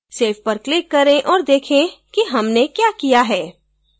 save पर click करें और देखे कि हमने क्या किया है